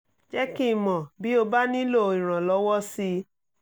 jẹ́ kí n mọ̀ bí o bá nílò ìrànlọ́wọ́ sí i